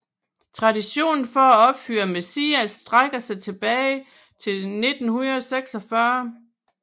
Traditionen for at opføre Messias strækker sig tilbage til 1946